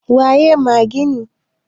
waye magini?